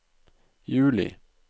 juli